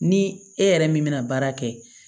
Ni e yɛrɛ min bɛna baara kɛ